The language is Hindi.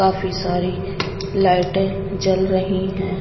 काफी सारी लाइटें जल रही हैं.